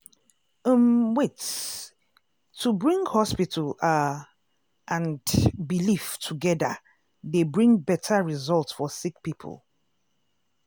um wait- to bring hospital are and belief togeda dey bring beta result for sick poeple.